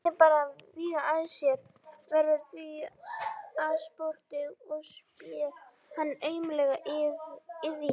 Vatnið bannar vígt að sé, verður því að spotti og spé hans aumleg iðja.